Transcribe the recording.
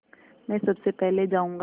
मैं सबसे पहले जाऊँगा